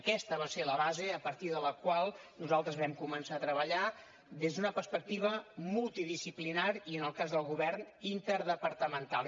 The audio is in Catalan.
aquesta va ser la base a partir de la qual nosaltres vam començar a treballar des d’una perspectiva multidisciplinària i en el cas del govern interdepartamental